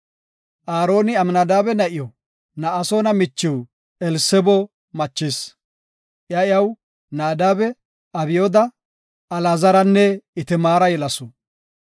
Aaroni Amnadaabe na7iw, Na7asoona michiw Elsebo machis. Iya iyaw Naadabe, Abyooda, Alaazaranne Itamaara yelasu.